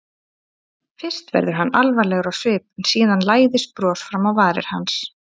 Fyrst verður hann alvarlegur á svip en síðan læðist bros fram á varir hans.